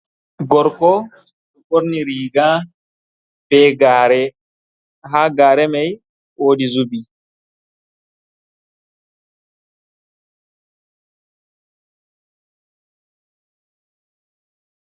Gorko ɗo ɓorni riga be gaare, ha gaare may wodi xubi.